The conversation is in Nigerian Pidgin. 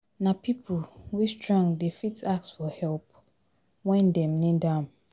Nah pipo wey strong dey fit ask for help wen Dem need am